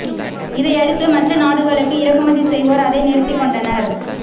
இதையடுத்து மற்ற நாடுகளுக்கு இறக்குமதி செய்வோர் அதை நிறுத்திக் கொண்டனர்